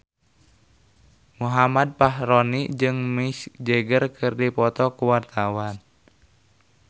Muhammad Fachroni jeung Mick Jagger keur dipoto ku wartawan